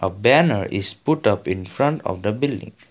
a banner is put up in front of the building.